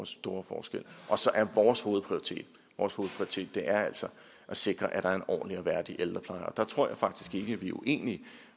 store forskel og så er vores hovedprioritet vores hovedprioritet altså at sikre at der er en ordentlig og værdig ældrepleje og der tror jeg faktisk ikke at vi er uenige